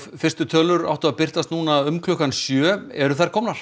fyrstu tölur áttu að birtast nú um klukkan sjö eru þær komnar